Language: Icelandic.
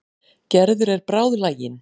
Gerður er bráðlagin.